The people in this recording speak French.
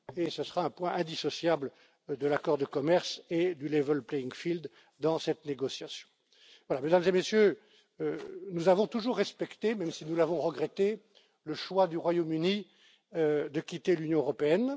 Ce sera donc un point indissociable de l'accord de commerce et du level playing field dans cette négociation. Mesdames et Messieurs, nous avons toujours respecté, même si nous l'avons regretté, le choix du Royaume Uni de quitter l'Union européenne.